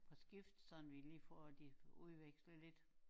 På skift sådan vi lige får de udvekslet lidt